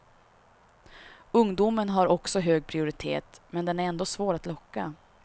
Ungdomen har också hög prioritet men den är ändå svår att locka.